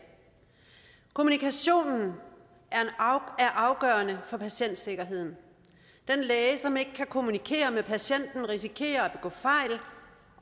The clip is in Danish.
kommunikationen er afgørende for patientsikkerheden den læge som ikke kan kommunikere med patienten risikerer